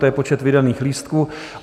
To je počet vydaných lístků.